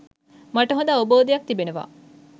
මට හොඳ අවබෝධයක් තිබෙනවා.